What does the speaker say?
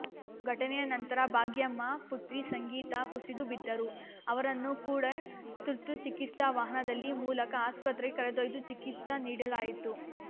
ಘಟನೆಯ ನಂತರ ಭಾಗ್ಯಮ್ಮ ಪುತ್ರಿ ಸಂಗೀತಾ ಕುಸಿದು ಬಿದ್ದರು ಅವರನ್ನು ಕೂಡ ತುರ್ತು ಚಿಕಿತ್ಸಾ ವಾಹನದಲ್ಲಿ ಮೂಲಕ ಆಸ್ಪತ್ರೆಗೆ ಕರೆದೊಯ್ದು ಚಿಕಿತ್ಸ ನೀಡಲಾಯಿತು